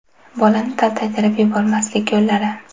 Bolani taltaytirib yubormaslik yo‘llari.